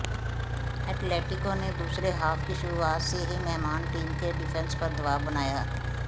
Atletico ने दूसरे half की शुरुआत से ही मेहमान टीम के डिफेंस पर दबाव बनाया